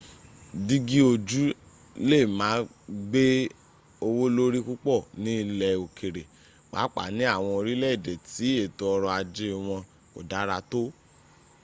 dígí ojú lè má gbé owó lórí púpọ̀ ni ilẹ̀ òkèrè pàápàá ni àwọn orílẹ̀ èdè tí èto ọrọ̀ ajé wọn kò dára t